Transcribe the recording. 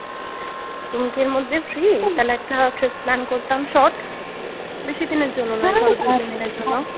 তুমি কি এর মধ্যে free তাহলে একটা trip plan করতাম short বেশিদিনের জন্য না ধরো দুই তিন দিনের জন্য